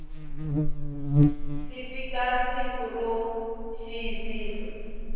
si fika siku ro xiyisisa